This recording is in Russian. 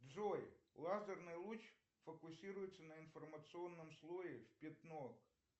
джой лазерный луч фокусируется на информационном слое в пятно